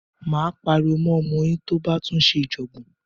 Máa pariwo mọ́ ọmọ yín tó bá tún ṣe ìjọ̀gbọ̀n.